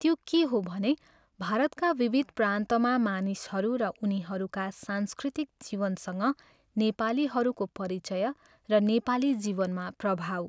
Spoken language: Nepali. त्यो के हो भने भारतका विविध प्रान्तमा मानिसहरू र उनीहरूका सांस्कृतिक जीवनसँग नेपालीहरूको परिचय र नेपाली जीवनमा प्रभाव।